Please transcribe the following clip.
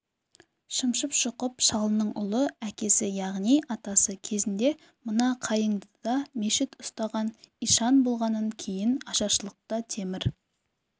шымшып-шұқып шалының ұлы әкесі яғни атасы кезінде мына қайыңдыда мешіт ұстаған ишан болғанын кейін ашаршылықта темір